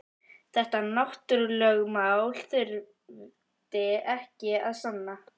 Þetta náttúrulögmál þurfti ekki að sanna.